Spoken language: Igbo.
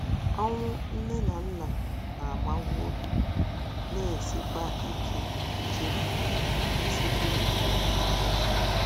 Ọnwụ nne na nna na - agbawa obi, na - esikwa ike nchefu esikwa ike nchefu.